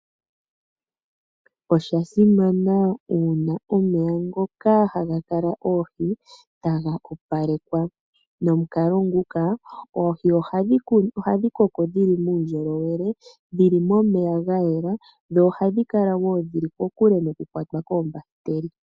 Oshasimana uuna omeya ngoka hagakala oohi taga opalekwa, nomukalo ngoka oohi hadhi koko dhili muundjolowele, dhili momeya ga yela nohadhi kala wo dhili kokule noku kwatwa koombahiteli .